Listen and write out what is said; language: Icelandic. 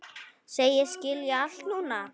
Segist skilja allt núna.